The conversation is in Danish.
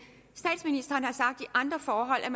andre forhold har